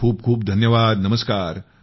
खूप खूप धन्यवाद । नमस्कार ।